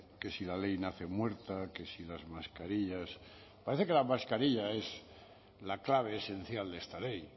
que si la ley nace muerta que si las mascarillas parece que la mascarilla es la clave esencial de esta ley